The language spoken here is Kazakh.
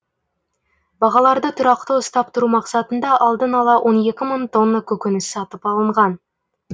бағаларды тұрақты ұстап тұру мақсатында алдын ала он екі мың тонна көкөніс сатып алынған